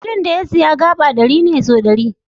Filin da ya siya gaba ɗari ne sau ɗari.